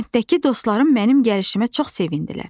Kənddəki dostlarım mənim gəlişimə çox sevindilər.